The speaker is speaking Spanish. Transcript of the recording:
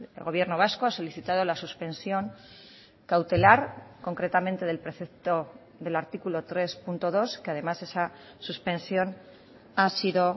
el gobierno vasco ha solicitado la suspensión cautelar concretamente del precepto del artículo tres punto dos que además esa suspensión ha sido